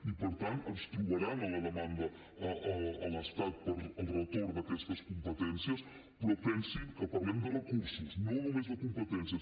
i per tant ens trobaran a la demanda a l’estat per al retorn d’aquestes competències però pensin que parlem de recursos no només de competències